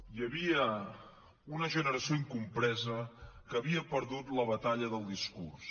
hi havia una generació incompresa que havia perdut la batalla del discurs